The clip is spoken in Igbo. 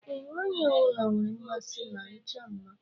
Ee, nwaanyị ọbụla nwere mmasị na ịchọ mma.